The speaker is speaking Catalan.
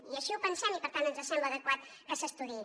i així ho pensem i per tant ens sembla adequat que s’estudiï